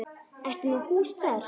Ertu með hús þar?